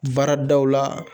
Baaradaw la